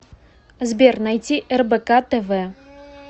сбер найти рбк тв